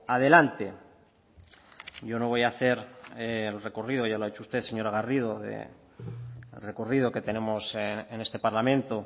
adelante yo no voy a hacer el recorrido ya lo ha hecho usted señora garrido el recorrido que tenemos en este parlamento